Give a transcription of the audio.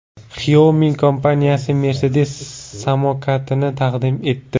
Xiaomi kompaniyasi Mercedes samokatini taqdim etdi.